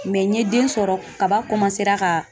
Mɛ n ye den sɔrɔ kaba ka